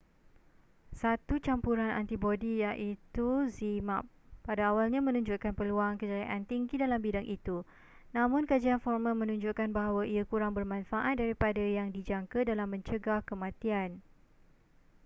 satu campuran antibodi iaitu zmapp pada awalnya menunjukkan peluang kejayaan tinggi dalam bidang itu namun kajian formal menunjukkan bahawa ia kurang bermanfaat daripada yang dijangka dalam mencegah kematian